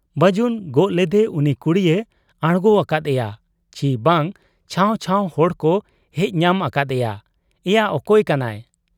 ᱵᱟᱹᱡᱩᱱ ᱜᱚᱜ ᱞᱮᱫᱮ ᱩᱱᱤ ᱠᱩᱲᱤᱭ ᱟᱬᱜᱚ ᱟᱠᱟᱫ ᱮᱭᱟ ᱪᱤ ᱵᱟᱝ ᱪᱷᱟᱹᱣ ᱪᱷᱟᱹᱣ ᱦᱚᱲᱠᱚ ᱦᱮᱡ ᱧᱟᱢ ᱟᱠᱟᱫ ᱮᱭᱟ, 'ᱮᱭᱟ ᱚᱠᱚᱭ ᱠᱟᱱᱟᱭ ?